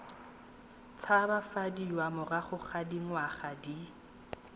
tshabafadiwa morago ga dingwaga di